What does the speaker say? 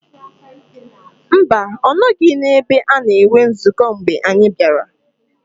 Mba, ọ nọghị n’ebe a na-enwe nzukọ mgbe anyị bịara